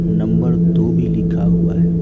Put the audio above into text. Number दो भी लिखा हुआ है।